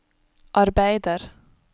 arbeider